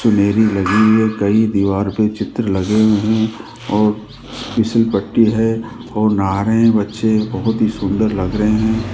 चुनरी लगी है कई दीवार पे चित्र लगे है और फिसल पट्टी है और नहा रहे बच्चे बहोत ही सुंदर लग रहे हैं।